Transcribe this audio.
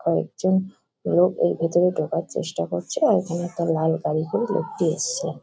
আরেকজন লোক এর ভেতরে ঢোকার চেষ্টা করেছে আর এখানে একটা লাল গাড়ি করে লোকটি এসছে।